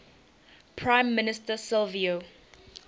prime minister silvio